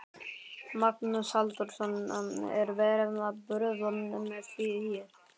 Magnús Halldórsson: Er verið að bruðla með fé hér?